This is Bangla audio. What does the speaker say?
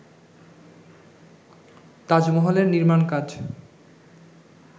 তাজমহলের নির্মাণ কাজ